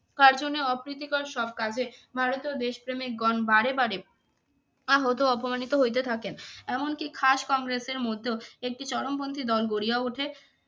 কার্জনের অপ্রীতিকর সব কার্যে ভারতীয় দেশপ্রেমিক গণ বারে বারে আহত অপমানিত হইতে থাকেন এমনকি খাস কংগ্রেসের মধ্যেও একটি চরমপন্থী দল গড়িয়া ওঠে।